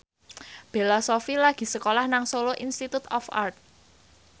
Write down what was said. Bella Shofie lagi sekolah nang Solo Institute of Art